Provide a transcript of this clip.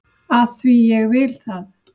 AF ÞVÍ AÐ ÉG VIL ÞAÐ!